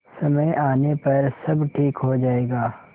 समय आने पर सब ठीक हो जाएगा